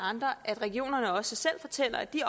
andre at regionerne også selv fortæller at de